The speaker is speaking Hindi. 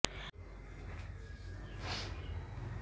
परीक्षण एक फल चमक पकाने के लिए डाल की तैयारी से पहले